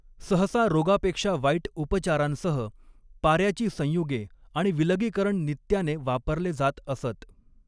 सहसा रोगापेक्षा वाईट उपचारांसह, पाऱ्याची संयुगे आणि विलगीकरण नित्याने वापरले जात असत.